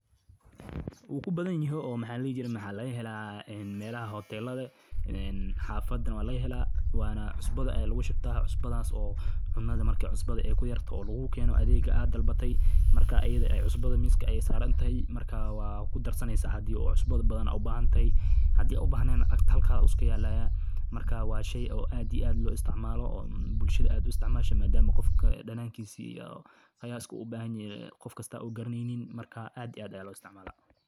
Wukubadanyehey oo maha ladihijiree waxa lagahela een melaha hotelada ee hafadana waagahela, wana cusbada ayana aguahubta scusbada oo cunada amarkay cusbda kuyartahay lagukeno adega aad dalbatay marka iyada eh cusbada miska ayay sarantehe, markaa waad kudarsaneysa hadhi aad cusbo ubahantahay hadhi aad ubahned dagta halka ayu iskayal, marka wa shey aad iyo aad loisticmalo bulshada uisticmasho maadamu gofka danankisa iyo qayaska uu ubahanyahay gofkasta uu garaneynin, marka aad iyo aad aya loisticmala.